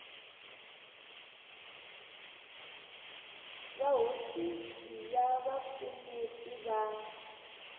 va hofisi ya vupfuneti va